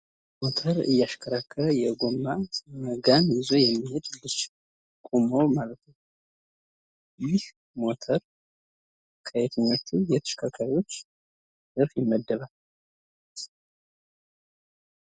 ሞተር እያሽከረከረ የጎማ ጋን ይዞ የሚሄድ ልጅ ቆሞ ማለት ነው። ይህ ሞተር ከየትኞቹ የተሽከርካሪዎች ዘርፍ ይመደባል?